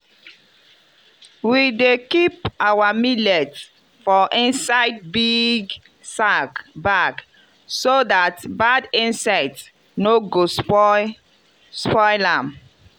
we dey keep our millet for inside big sack bag so that bad insect no go spoil spoil am.